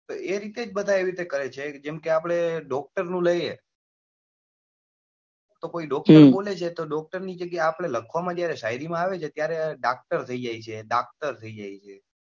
તો એ રીતે જ બધા એવી રીતે કરે છે જેમ કે આપડે doctor લઈએ તો કોઈ doctor બોલે છે doctor જગ્યા એ આપડે લખવા માં જયારે શાયરી માં આવે છે ત્યારે દાકતર થઇ જાય છે દાકતર થઇ જાય છે.